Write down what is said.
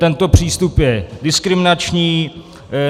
Tento přístup je diskriminační.